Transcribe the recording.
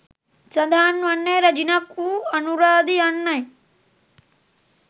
සඳහන් වන්නේ රැජිනක් වූ අනුරාදි යන්නයි.